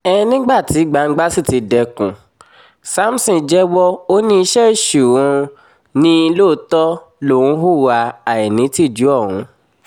um nígbà tí gbangba sì ti dẹkùn samson jẹ́wọ́ ó ní iṣẹ́ èṣù um ni lóòótọ́ lòún hùwà àìnítìjú ọ̀hún